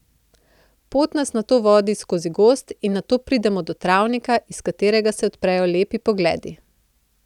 Pot nas nato vodi skozi gozd in nato pridemo do travnika, iz katerega se odprejo lepi pogledi.